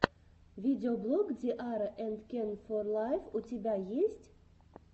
видеоблог ди арра энд кен фор лайф у тебя есть